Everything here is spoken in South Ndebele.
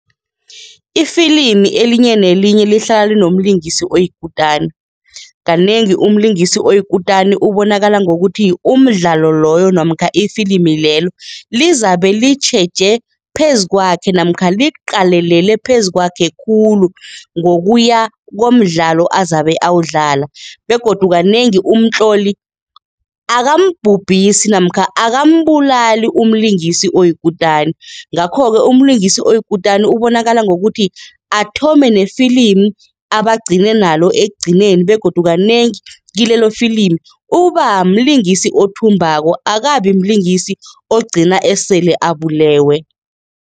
Ifilimi elinye nelinye lihlala linomlingisi oyikutani. Kanengi umlingisi oyikutani ubonakala ngokuthi, umdlalo loyo namkha efilimi lelo lizabe litjheje phezu kwakhe namkha liqalelele phezu kwakhe khulu ngokuya komdlalo azabe awudlala begodu kanengi umtloli akambhubhisi namkha akambulali umlingisi oyikutani. Ngakho-ke umlingisi oyikutani ubonakala ngokuthi athome nefilimi abe agcine nalo ekugcineni begodu kanengi kilelo filimi uba mlingisi othumbako, akabi mlingisi ogcina esele abulewe.